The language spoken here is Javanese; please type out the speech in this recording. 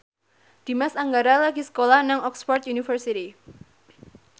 Dimas Anggara lagi sekolah nang Oxford university